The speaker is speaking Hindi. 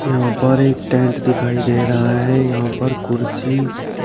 यहां पर एक टेंट दिखाई दे रहा है यहां पर कुर्सी --